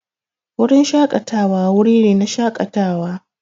Wurin shaƙatawa wuri ne na shaƙatawa.